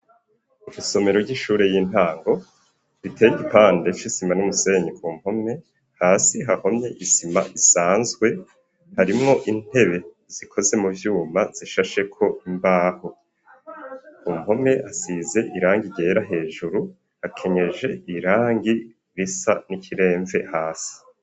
Isomero ry'ishure y'intango, biteye igipande c'isima n'umusenyi, ku mpome hasi hahomye isima isanzwe ,harimwo intebe zikoze mu vyuma zishashe ko imbaho, ku mpome asize irangi ryera, hejuru akenyeje irangi risa n'ikiremve hasi.